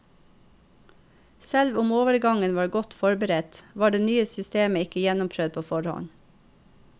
Selv om overgangen var godt forberedt, var det nye systemet ikke gjennomprøvd på forhånd.